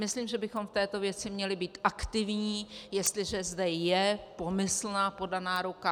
Myslím, že bychom v této věci měli být aktivní, jestliže zde je pomyslná podaná ruka.